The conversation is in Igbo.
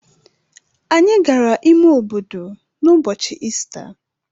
Anyị gara ime obodo n’ụbọchị Ista.